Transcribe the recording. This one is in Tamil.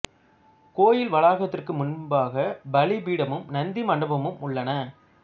கோயில் வளாகத்திற்கு முன்பாக பலி பீடமும் நந்தி மண்டபமும் உள்ளன